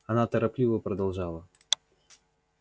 она торопливо продолжала